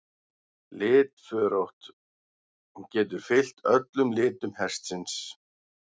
Litförótt: Getur fylgt öllum litum hestsins.